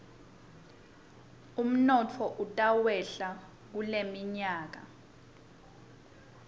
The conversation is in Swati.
umnotfo utakwehla kuleminyaka